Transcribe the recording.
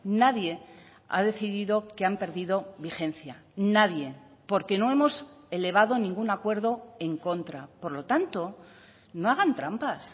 nadie ha decidido que han perdido vigencia nadie porque no hemos elevado ningún acuerdo en contra por lo tanto no hagan trampas